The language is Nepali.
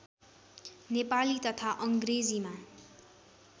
नेपाली तथा अङ्ग्रेजीमा